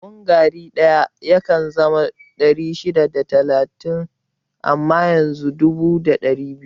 Buhun gari ɗaya yakan zama ɗari shida da talatin amma yanzu dubu da ɗari biyu